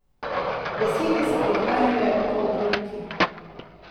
Besede so prihajale po obrokih.